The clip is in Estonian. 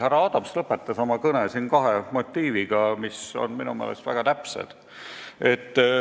Härra Adams lõpetas siin oma kõne kahe motiiviga, mis on minu meelest väga täpsed.